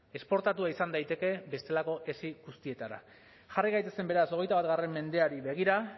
esportatua izan daiteke bestelako esi guztietara jarri gaitezen beraz hogeita bat mendeari begira